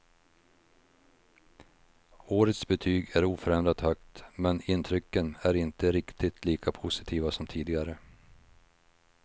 Årets betyg är oförändrat högt, men intrycken är inte riktigt lika positiva som tidigare.